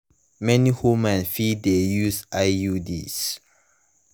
many women fit de use iuds